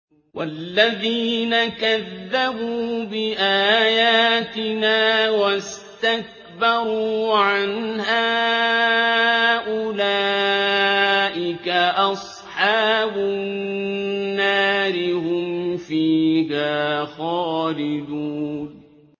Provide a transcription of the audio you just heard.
وَالَّذِينَ كَذَّبُوا بِآيَاتِنَا وَاسْتَكْبَرُوا عَنْهَا أُولَٰئِكَ أَصْحَابُ النَّارِ ۖ هُمْ فِيهَا خَالِدُونَ